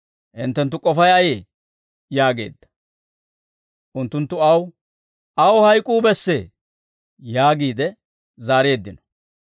Hinttenttu k'ofay ayee?» yaageedda. Unttunttu, «Aw hayk'uu bessee» yaagiide zaareeddino.